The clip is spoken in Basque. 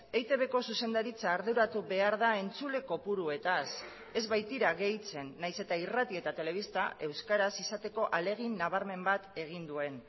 eitbko zuzendaritza arduratu behar da entzule kopuruetaz ez baitira gehitzen nahiz eta irrati eta telebista euskaraz izateko ahalegin nabarmen bat egin duen